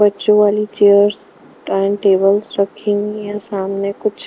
बच्चों वाली chairs time tables रखी हुई है सामने कुछ --